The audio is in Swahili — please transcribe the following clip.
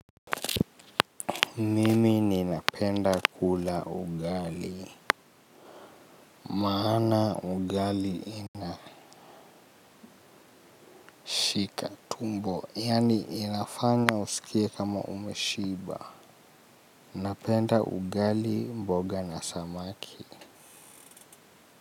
Mimi ninapenda kula ugali. Maana ugali inashika tumbo yaani inafanya usikie kama umeshiba. Napenda ugali mboga na samaki.